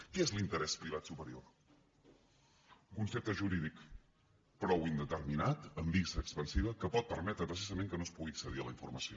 què és l’interès privat superior concepte jurídic prou indeterminat amb vis expansiva que pot permetre precisament que no es pugui accedir a la informació